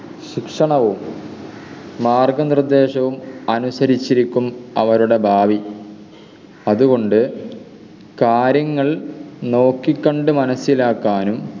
ശിക്ഷണവും മാർഗ്ഗനിര്‍ദ്ദേശവും അനുസരിച്ചിരിക്കും അവരുടെ ഭാവി അതുകൊണ്ട് കാര്യങ്ങൾ നോക്കിക്കണ്ട് മനസ്സിലാക്കാനും